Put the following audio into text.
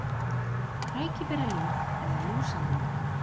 Krækiberjalyng eða lúsalyng.